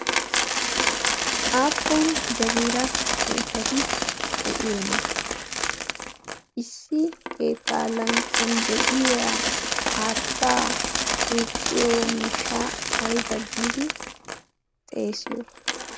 aappun jaggira keettati de'iyoona? Issi keetta lanqqiyaan de'iyaa haatta duqqiyo miishsha ayba giidi xeesiyo?